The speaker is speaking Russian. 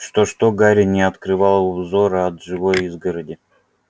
что что гарри не открывал взора от живой изгороди